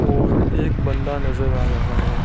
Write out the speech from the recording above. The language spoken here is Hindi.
और एक बंदा नजर आ रहा है।